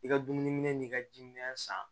I ka dumuni n'i ka jiminɛ san